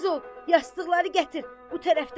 Yastıqları gətir bu tərəfdən qoy.